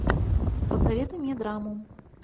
посоветуй мне драму